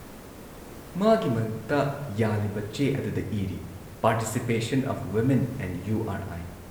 ꯃꯥꯒꯤ ꯃꯉꯛꯇ ꯌꯥꯜꯂꯤꯕ, ꯆꯦ ꯑꯗꯨꯗ ꯏꯔꯤ ‑ "participation of women in U R I".